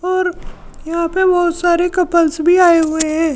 और यहाँ पर बहोत सारे कपल्स भी आये हुए है।